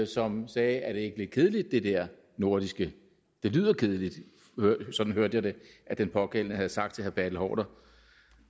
som sagde er det ikke lidt kedeligt det der nordiske det lyder kedeligt sådan hørte jeg at den pågældende havde sagt til herre bertel haarder